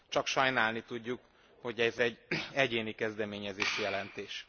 Csak sajnálni tudjuk, hogy ez egy egyéni kezdeményezésű jelentés.